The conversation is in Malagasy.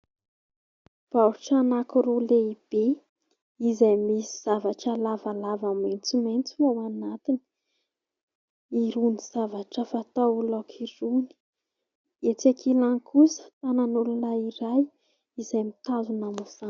Baoritra anankiroa lehibe, izay misy zavatra lavalava maintsomaintso ao anatiny irony zavatra fatao laoka irony ; etsy ankilany kosa tanan'olona iray izay mitazona mizana.